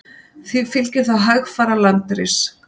því fylgir þá hægfara landris